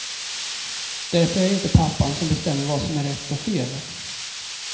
Därför är jag inte pappan som bestämmer vad som är rätt och fel.